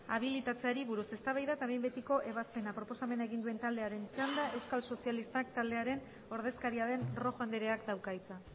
habilitatzeari buruz eztabaida eta behin betiko ebazpena proposamena egin duen taldearen txanda euskal sozialistak taldearen ordezkaria den rojo andreak dauka hitza